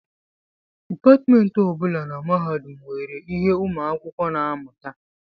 Depatmentị ọ bụla na mahadum nwere ihe ụmụ akwụkwọ na-amụta